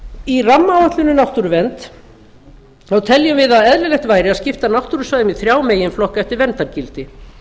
í rammaáætlun um náttúruvernd teljum við að eðlilegt væri að skipta náttúrusvæðum í þrjá meginflokka eftir verndargildi